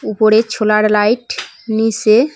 উপরে ছোলার লাইট নীসে--